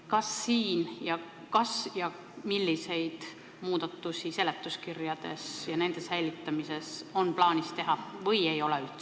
Kas ja kui, siis milliseid muudatusi on seletuskirjade säilitamisel plaanis teha?